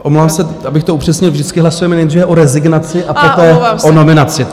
Omlouvám se, abych to upřesnil: vždycky hlasujeme nejdříve o rezignaci a poté o nominaci.